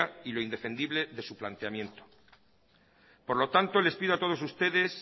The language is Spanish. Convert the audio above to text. y lo indefendible de sus planteamiento por lo tanto les pido a todos ustedes